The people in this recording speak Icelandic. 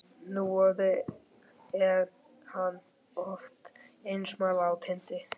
Núorðið er hann oft einsamall á tindi